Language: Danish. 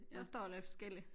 Der står lidt forskellig